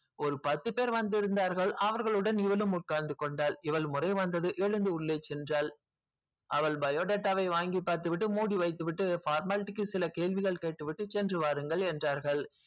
ஒரு பத்து பேர் வந்து உட்கார்ந்து இருந்தார்கள் அவர்களுடன் இவளும் உட்கார்ந்துக்கொண்டாள் இவள் முறை வந்தது எதுந்து உள்ளே சென்றால் அவள் biodata வை வாங்கி பார்த்துவிட்டு மூடி வைத்துவிட்டு formality க்கு சில கேள்விகள் கேட்டுவிட்டு சென்று வாருங்கள் என்றார்கள்